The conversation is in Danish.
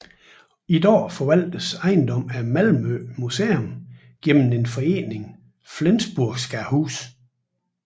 I dag forvaltes ejendommen af Malmø Museum gennem foreningen Flensburgska huset